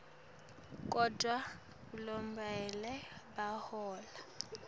kodvwa lokubonakala bahola